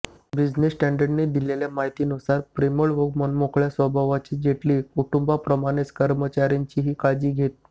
business स्टँडर्डने दिलेल्या माहितीनुसार प्रेमळ व मनमोकळ्या स्वभावाचे जेटली कुटुंबाप्रमाणेच कर्मचाऱ्यांचीही काळजी घेत